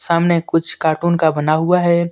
सामने कुछ कार्टून का बना हुआ है।